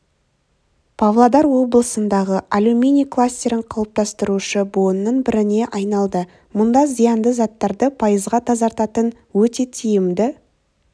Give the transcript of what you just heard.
павлодар облысындағы алюминий кластерін қалыптастырушы буынның біріне айналды мұнда зиянды заттарды пайызға тазартатын өте тиімді